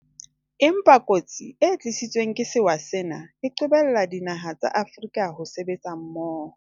Empa kotsi e tlisitsweng ke sewa sena e qobelletse dinaha tsa Afrika ho sebetsa mmoho.